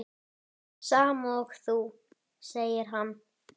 Sama og þú, segir hann.